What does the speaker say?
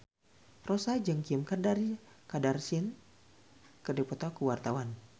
Rossa jeung Kim Kardashian keur dipoto ku wartawan